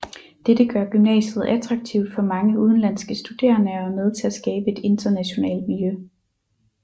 Dette gør gymnasiet attraktivt for mange udenlandske studerende og er med til at skabe et internationalt miljø